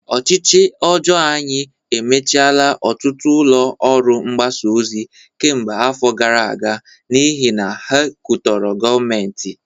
Ọchịchị ọjọọ anyị emechiela ọtụtụ ụlọ ọrụ mgbasa ozi kemgbe afọ gara aga n'ihi na ha katọrọ gọọmentị